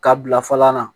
Ka bila fɔlɔ la